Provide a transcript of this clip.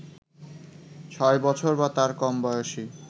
৬ বছর বা তার কম বয়সী